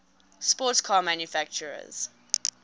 sports car manufacturers